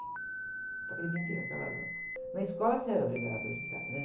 aquele brinquedo, aquela... Na escola você era obrigado a brincar, né?